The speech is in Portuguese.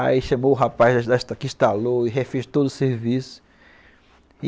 Aí chamou o rapaz que instalou e refez todo o serviço.